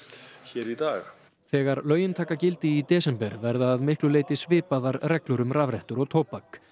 í dag þegar lögin taka gildi í desember verða að miklu leyti svipaðar reglur um rafrettur og tóbak